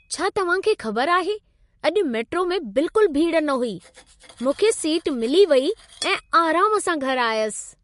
छा तव्हां खे ख़बर आहे, अॼु मेट्रो में बिल्कुलु भीड़ न हुई? मूंखे सीट मिली वेई ऐं आराम सां घरि आयसि।